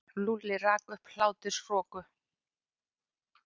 Lúlli rak upp hláturroku.